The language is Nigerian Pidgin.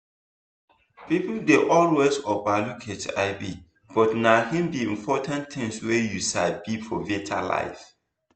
people dey always over look hivbut na hin be important thing wey you sabi for better life.